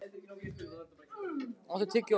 Öxar, áttu tyggjó?